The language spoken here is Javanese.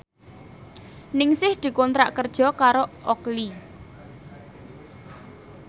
Ningsih dikontrak kerja karo Oakley